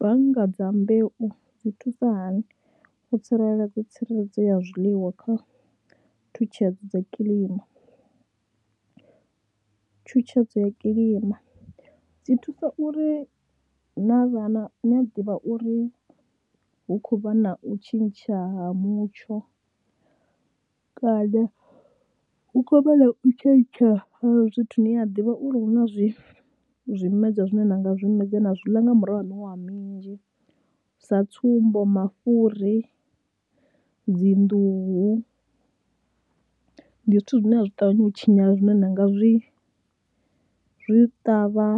Bannga dza mbeu dzi thusa hani u tsireledza tsireledzo ya zwiḽiwa kha thutshedzo dza kilima, tshutshedzo ya kilima dzi thusa uri na vha na, na ḓivha uri hu khou vha na u tshintsha ha mutsho kana hu khou vha na u tshentsha ha zwithu, ni a ḓivha uri hu na zwi zwimedzwa zwine nda nga zwimedzwa na zwi ḽa nga murahu ha miṅwaha minzhi, sa tsumbo mafhuri, dzi nḓuhu, ndi zwithu zwine a zwi ṱavhanyi u tshinyala zwine nda nga zwi zwi ṱavha